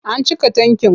A cika tankin.